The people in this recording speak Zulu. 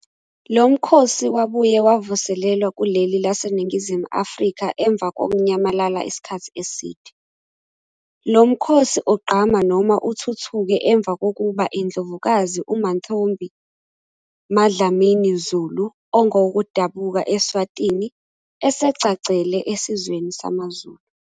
Lo mkhosi wabuye wavuselelwa kuleli laseNingizimu Afrika emva kokunyamalala isikhathi eside. Lo mkhosi ugqama noma uthuthuke emva kokuba indlovukazi Mantfombi MaDlamini Zulu, ongowokudabuka eSwatini, esegcagcele esizweni samaZulu.